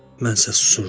Mən isə susurdum.